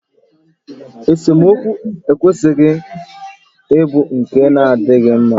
Esemokwu ekwesịghị ịbụ nke na-adịghị mma